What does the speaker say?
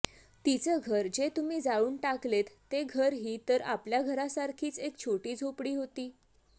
तिचं घर जे तुम्ही जाळून टाकलेत ते घरही तर आपल्या घरासारखीच एक छोटी झोपडी होती